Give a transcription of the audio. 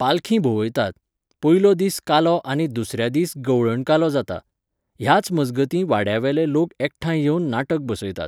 पालखी भोंवयतात. पयलो दीस कालो आनी दुसऱ्या दीस गवळण कालो जाता. ह्याच मजगतीं वाड्यावेले लोक एकठांय येवन नाटक बसयतात